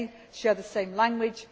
says. I may share the same language